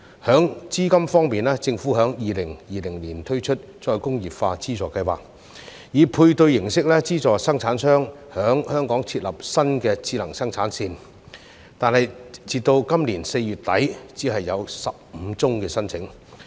在資金方面，政府在2020年推出再工業化資助計劃，以配對形式資助生產商在香港設立新智能生產線，但截至今年4月底，只有15宗申請。